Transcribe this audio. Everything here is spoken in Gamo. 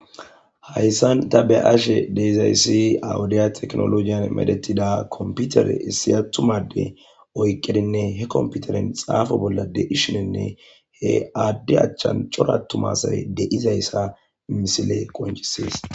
hayssan tabe ashe deeizaysi awudiya teknolojiyan medetida komputere issiyattumade oyqqedinne he komputeren xaafo bolla deishinenne he aadde achchan coratumasae de7izayssa misile qoncisies